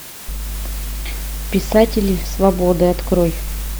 писатели свободы открой